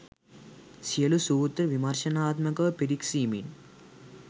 සියලු සූත්‍ර විමර්ශනාත්මකව පිරික්සීමෙන්